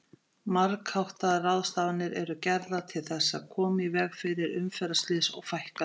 Margháttaðar ráðstafanir eru gerðar til þess að koma í veg fyrir umferðarslys og fækka þeim.